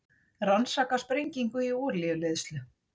Rannsaka sprengingu í olíuleiðslu